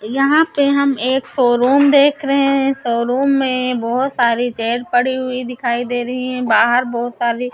यहाँ पे हम एक सोरूम देख रहे हैं सोरूम में बोहोत सारी चेयर पड़ी हुई दिखाई दे रही हैं बाहर बोहोत सारी--